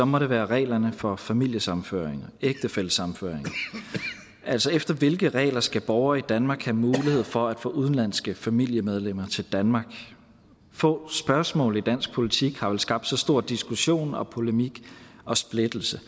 må det være reglerne for familiesammenføring ægtefællesammenføring efter hvilke regler skal borgere i danmark have mulighed for at få udenlandske familiemedlemmer til danmark få spørgsmål i dansk politik har vel skabt så stor diskussion polemik og splittelse